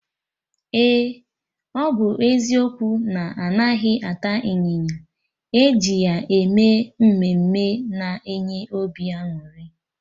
Eh! Ọ bụ eziokwu na-anaghị ata ịnyịnya, eji ya eme ihe mme mme na-enye obi añụrị